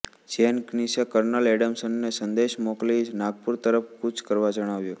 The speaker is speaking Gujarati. જેનકિન્સે કર્નલ એડમ્સને સંદેશ મોકલી નાગપુર તરફ કૂચ કરવા જણાવ્યું